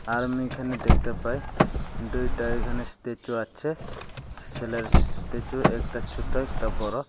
আর আমি এখানে দেখতে পাই দুইটা এইখানে স্টেচু আছে সেলের স্ত্যাচু একতা ছোত একতা বড়